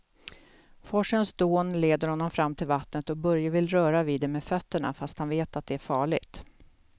Forsens dån leder honom fram till vattnet och Börje vill röra vid det med fötterna, fast han vet att det är farligt.